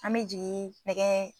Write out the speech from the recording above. An me jigin nɛgɛ